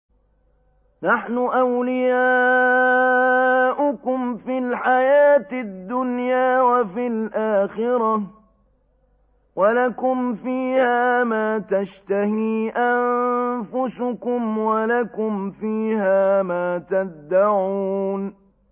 نَحْنُ أَوْلِيَاؤُكُمْ فِي الْحَيَاةِ الدُّنْيَا وَفِي الْآخِرَةِ ۖ وَلَكُمْ فِيهَا مَا تَشْتَهِي أَنفُسُكُمْ وَلَكُمْ فِيهَا مَا تَدَّعُونَ